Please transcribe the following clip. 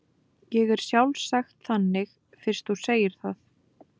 Ég er sjálfsagt þannig fyrst þú segir það.